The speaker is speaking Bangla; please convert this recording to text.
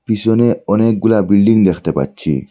পিসনে অনেকগুলা বিল্ডিং দেখতে পাচ্ছি।